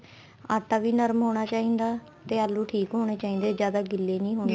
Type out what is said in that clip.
ਆਟਾ ਵੀ ਨਰਮ ਹੋਣਾ ਚਾਹੀਦਾ ਤੇ ਆਲੂ ਠੀਕ ਹੋਣੇ ਚਾਹੀਦੇ ਜਿਆਦਾ ਗਿੱਲੇ ਨੀ ਹੋਣੇ